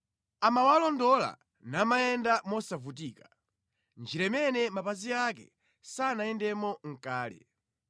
Amawalondola namayenda mosavutika, mʼnjira imene mapazi ake sanayendemo kale.